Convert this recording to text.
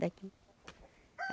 Daqui.